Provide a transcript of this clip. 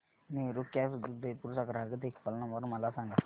Meru cabs Udaipur चा ग्राहक देखभाल नंबर मला सांगा